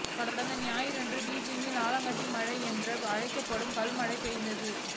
கடந்த வியாழன்று பீஜிங்கில் ஆலங்கட்டி மழை என்று அழைக்கப்படும் கல் மழை பெய்தது